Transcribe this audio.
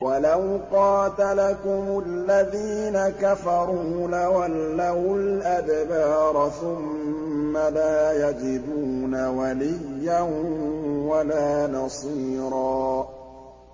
وَلَوْ قَاتَلَكُمُ الَّذِينَ كَفَرُوا لَوَلَّوُا الْأَدْبَارَ ثُمَّ لَا يَجِدُونَ وَلِيًّا وَلَا نَصِيرًا